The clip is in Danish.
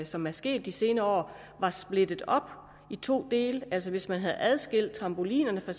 som er sket de senere år var splittet op i to dele altså hvis man havde adskilt trampolinerne fra